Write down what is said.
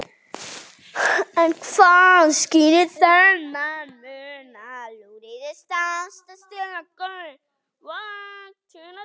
En hvað skýrir þennan mun?